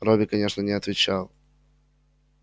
робби конечно не отвечал